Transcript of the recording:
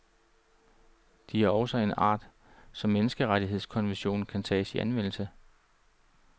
De er også af en art, så menneskerettighedskonventionen kan tages i anvendelse.